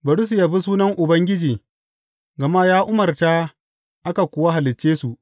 Bari su yabi sunan Ubangiji, gama ya umarta aka kuwa halicce su.